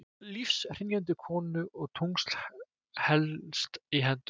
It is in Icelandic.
Lífshrynjandi konu og tungls helst í hendur.